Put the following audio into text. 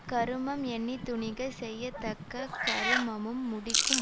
கருமம் எண்ணி துணிக செய்யத்தக்க கருமமும் முடிக்கும்